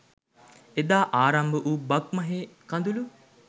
එදා ආරම්භවූ බක්මහේ කඳුළු